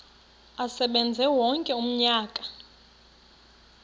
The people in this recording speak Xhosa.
asebenze wonke umnyaka